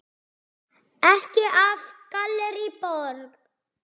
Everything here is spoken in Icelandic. Ekki af Gallerí Borg.